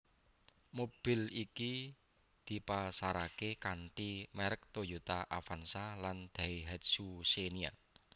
Mobil iki dipasaraké kanthi merk Toyota Avanza lan Daihatsu Xenia